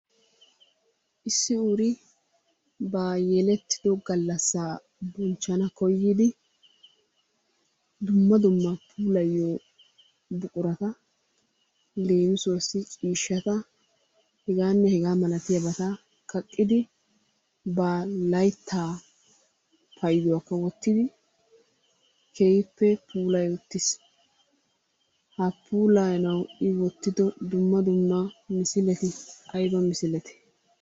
Issi uru ba yelettido gallassaa bonchchana koyyidi dumma dumma puulayiyo buqurata leemisuwassi ciishshata hegaanne hegaa malatiyabata kaqqidi ba layttaa payiduwakka wottidi keehippe puulayi uttis. Ha puulayanawu i wottido dumma dumma misileti ayba misilete?